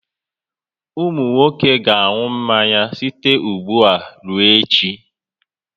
Ụmụ nwoke ga-aṅụ mmanya site ugbu a ruo echi